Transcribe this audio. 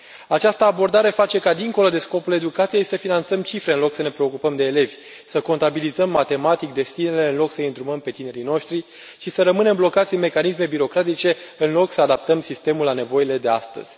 Această abordare face ca, dincolo de scopul educației, să finanțăm cifre, în loc să ne preocupăm de elevi, să contabilizăm matematic destinele, în loc să i îndrumăm pe tinerii noștri și să rămânem blocați în mecanisme birocratice, în loc să adaptăm sistemul la nevoile de astăzi.